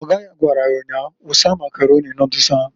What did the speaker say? Ọga ya gwara ya nnyaa si, "Wusa Makaroni nodulu ahụǃ